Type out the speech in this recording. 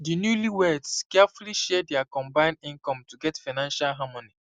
di newlyweds carefully share dia combined income to get financial harmony